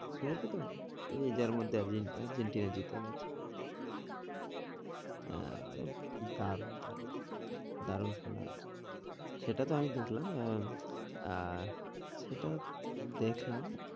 শুনেছো তো? আর্জেন্টিনা জিতে গেছে হ্যাঁ দারুন দারুন দারুন খেলা হয়েছে। সেটা তো আমি দেখলাম আহ আহ সেটা দেখলাম